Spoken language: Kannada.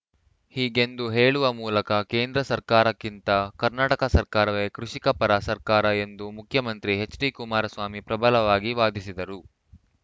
ಹೀಗೆಂದು ಹೇಳುವ ಮೂಲಕ ಕೇಂದ್ರ ಸರ್ಕಾರಕ್ಕಿಂತ ಕರ್ನಾಟಕ ಸರ್ಕಾರವೇ ಕೃಷಿಕ ಪರ ಸರ್ಕಾರ ಎಂದು ಮುಖ್ಯಮಂತ್ರಿ ಎಚ್‌ಡಿ ಕುಮಾರಸ್ವಾಮಿ ಪ್ರಬಲವಾಗಿ ವಾದಿಸಿದರು